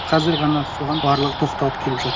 қазір ғана соған барлығы тоқталып келіп жатыр